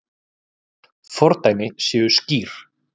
Fordæmi séu skýr.